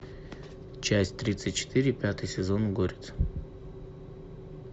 часть тридцать четыре пятый сезон горец